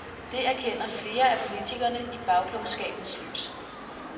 Det erkender flere af politikerne i bagklogskabens lys.